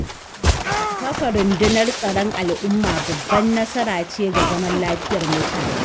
Kafa sabuwar rundunar Tsaron al'umma babbar nasara ce ga zaman lafiyar mutane.